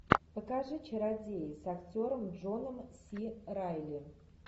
покажи чародеи с актером джоном си райли